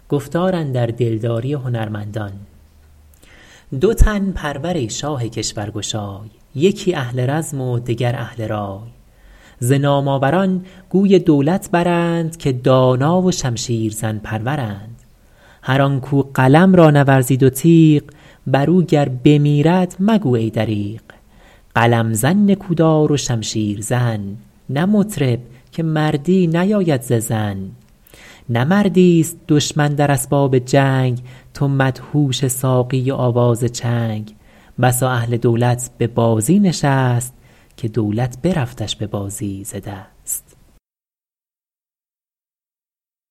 دو تن پرور ای شاه کشور گشای یکی اهل رزم و دگر اهل رای ز نام آوران گوی دولت برند که دانا و شمشیر زن پرورند هر آن کاو قلم را نورزید و تیغ بر او گر بمیرد مگو ای دریغ قلم زن نکودار و شمشیر زن نه مطرب که مردی نیاید ز زن نه مردی است دشمن در اسباب جنگ تو مدهوش ساقی و آواز چنگ بسا اهل دولت به بازی نشست که دولت برفتش به بازی ز دست